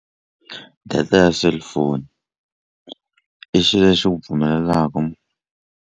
Data ya cellphone i xilo lexi xi ku pfumelelaku.